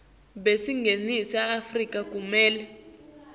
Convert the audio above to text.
baseningizimu afrika kumele